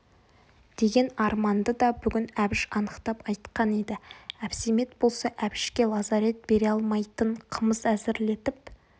деген арманды да бүгін әбіш анықтап айтқан еді әбсәмет болса әбішке лазарет бере алмайтын қымыз әзірлетіп